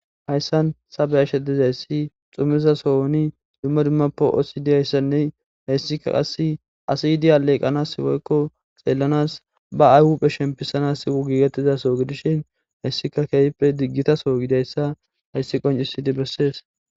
hayssan sabeya shedizayssi xumizasohoni dumma dummappo osidiyayssanne hayssika qass asiydi aleeqanas iwoykko xeellanas ba ayhupphe shempisanas siwu gigettizaso gidishin hayssika keehppe diggitaso gidayssa hayssi qoncisidi bessees